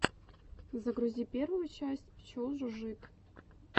загрузи первую часть пчел жужжит